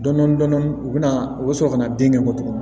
Dɔndɔni dɔndɔni u bɛna u bɛ sɔrɔ ka na den kɛ bɔ tugunni